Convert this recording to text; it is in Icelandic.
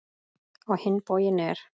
Á hinn bóginn er